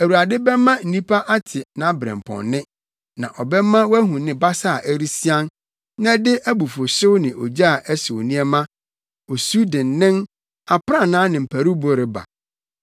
Awurade bɛma nnipa ate nʼabrɛmpɔnnne na ɔbɛma wɔahu ne basa a ɛresian na ɛde abufuwhyew ne ogya a ɛhyew nneɛma osu dennen, aprannaa ne mparuwbo reba.